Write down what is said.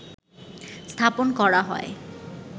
স্থাপন করা হয়